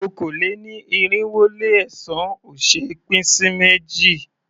Okòó-lé-ní-irinwó-lé-ẹ̀sán ò ṣé é pín sí méjì.